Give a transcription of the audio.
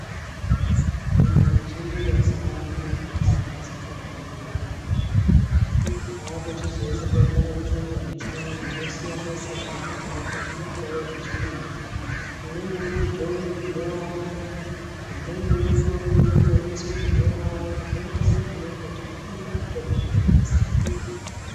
Antu azhinji mazuwano atambudzika nenyongo akuchizoende kotsvake mishonga yechiyungu inosiyane siyane nekuti zvako zvinombouye zvechidini . Umweni unodzvowe zvinovava ,umweni unorutse zvinovava zvoenderana nekuti unenge uchinzwe sei iriyo mitombo yacho yakasiyana siyana .